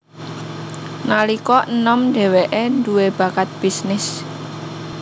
Nalika enom dheweke dhuwe bakat bisnis